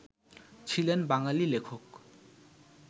ছিলেন বাঙালি লেখক